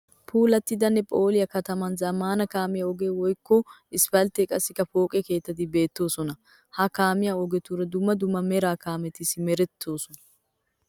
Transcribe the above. Puulattidanne phooliya kataman zammaana kaamiya ogee woyikko isipalttee qassikka pooqe keettati beettoosona. Ha kaamiya ogetuura dumma dumma Mera kaameti simerettoosona.